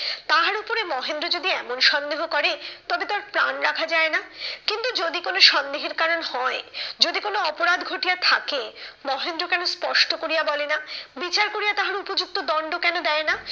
তাহার উপরে মহেন্দ্র যদি এমন সন্দেহ করে তবে, তো আর প্রাণ রাখা যায় না। কিন্তু যদি কোনো সন্দেহের কারণ হয়, যদি কোনো অপরাধ ঘটিয়া থাকে, মহেন্দ্র কেন স্পষ্ট করিয়া বলে না? বিচার করিয়া তাহার উপযুক্ত দণ্ড কেন দেয় না?